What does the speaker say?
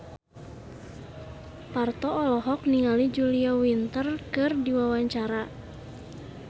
Parto olohok ningali Julia Winter keur diwawancara